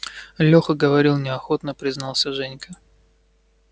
лёха говорил неохотно признался женька